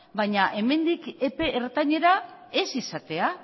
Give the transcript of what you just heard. baina hemendik epe ertainera ez izatea